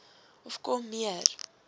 of kom meer